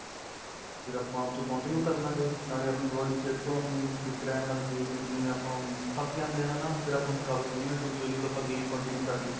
ਫ਼ਿਰ ਆਪਾਂ ਉਥੇ continue ਕਰ੍ਲਾਗੇ ਨਾਲੋਂ ਆਪਣੀ body ਫ਼ੇਰ ਤੋ ਆਪਣੀ fit ਰਹਿਣ ਲੱਗ ਜਾਏਗੀ ਕਿਉਂਕਿ ਜਿਵੇਂ ਆਪਾਂ ਹੁਣ ਥੱਕ ਜਾਂਦੇ ਆਂ ਹੈਨਾ ਫ਼ਿਰ ਆਪਾਂ ਨੂੰ ਥਕਾਵਟ ਨਹੀਂ ਮਹਿਸੂਸ ਹੋਏਗੀ ਜਦੋ ਆਪਾਂ game continue ਕਰਲੀ